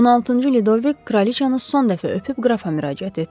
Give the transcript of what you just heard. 16-cı Lüdovik kraliçanı son dəfə öpüb qrafa müraciət etdi.